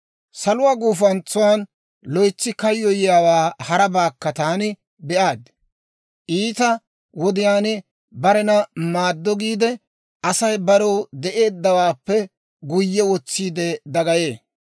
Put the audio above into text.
Saluwaa gufantsan loytsi kayyoyiyaawaa harabaakka taani be'aad; iita wodiyaan barena maaddo giide, Asay barew de'eeddawaappe guyye wotsiide dagayee.